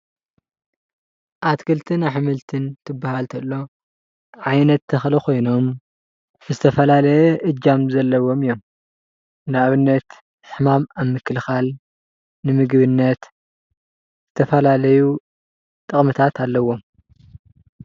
ኣትክልትን ኣሕምልትን ትበሃል ተሎ ዓይነት ተክሊ ኮይኖም ዝተፈላለየ እጃም ዘለዎም እዮም፡፡ ንኣብነት ሕማም ኣብ ምክልኻል፣ ንምግብነት ተፈላለዩ ጥቅምታት ኣለውዎም፡፡